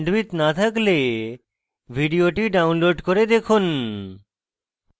ভাল bandwidth না থাকলে ভিডিওটি download করে দেখুন